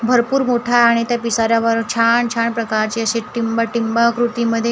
भरपूर मोठा आणि त्या पिसाऱ्यावर छान-छान प्रकारचे असे टिंब-टिंब आकृतीमध्ये--